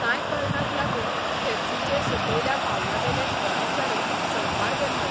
कांय कारणाक लागून पेप्सीचे सकयल्या पावंड्यावेले कर्मचारी संपार गेल्ले.